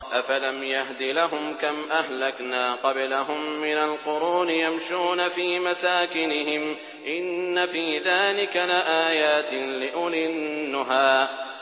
أَفَلَمْ يَهْدِ لَهُمْ كَمْ أَهْلَكْنَا قَبْلَهُم مِّنَ الْقُرُونِ يَمْشُونَ فِي مَسَاكِنِهِمْ ۗ إِنَّ فِي ذَٰلِكَ لَآيَاتٍ لِّأُولِي النُّهَىٰ